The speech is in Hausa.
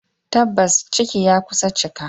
Tabbas ciki ya kusa cika.